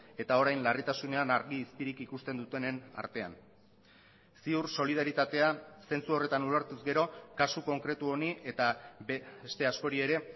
eta orain larritasunean argi izpirik ikusten dutenen artean ziur solidaritatea zentzu horretan ulertuz gero kasu konkretu honi eta beste askori ere